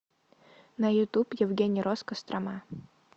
на ютуб евгений росс кострома